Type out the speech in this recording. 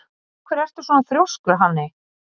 Af hverju ertu svona þrjóskur, Hanney?